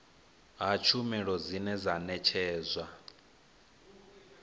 ha tshumelo dzine dza ṋetshedzwa